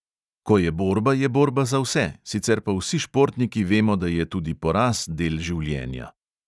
Ko je borba, je borba za vse, sicer pa vsi športniki vemo, da je tudi poraz del življenja.